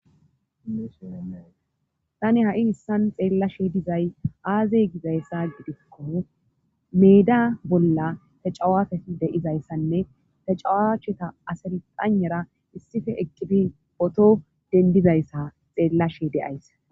Tani ha7i hissan xeellashe dizay aazey gizayssa gidikko meda bolla ta cawafe deyizayssanne tacawaacheta asirqanera issife eqibi poto dendizayssa xeellashe deyays